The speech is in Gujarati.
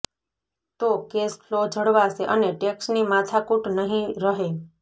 તો કેશ ફ્લો જળવાશે અને ટેક્સની માથાકૂટ નહીં રહે